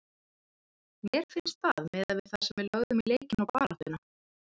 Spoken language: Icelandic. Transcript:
Mér finnst það miðað við það sem við lögðum í leikinn og baráttuna.